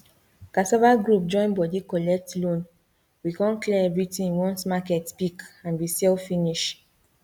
cassava group join body collect loan we con clear everything once market pick and we sell finish